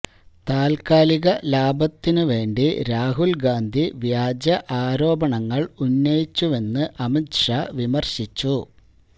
താല്ക്കാലിക ലാഭത്തിന് വേണ്ടി രാഹുല്ഗാന്ധി വ്യാജ ആരോപണങ്ങള് ഉന്നയിച്ചുവെന്ന് അമിത് ഷാ വിമര്ശിച്ചു